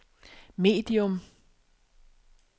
medium